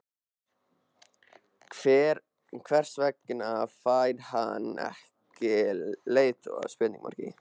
Hver vegna fær hann sér ekki leiðtoga?